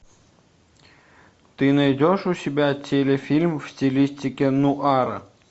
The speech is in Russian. ты найдешь у себя телефильм в стилистике нуара